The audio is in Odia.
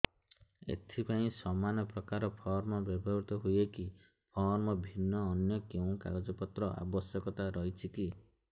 ଏଥିପାଇଁ ସମାନପ୍ରକାର ଫର୍ମ ବ୍ୟବହୃତ ହୂଏକି ଫର୍ମ ଭିନ୍ନ ଅନ୍ୟ କେଉଁ କାଗଜପତ୍ରର ଆବଶ୍ୟକତା ରହିଛିକି